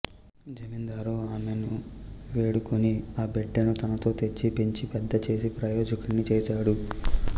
జమిందారు ఆమెను వేడుకొని ఆ బిడ్డని తనతో తెచ్చి పెంచి పెద్దచేసి ప్రయోజకుడిని చేస్తాడు